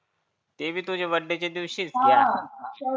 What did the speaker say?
ते बी तुजा बर्थडेचा दिवशीच हा